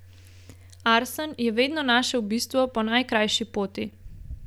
Arsen je vedno našel bistvo po najkrajši poti.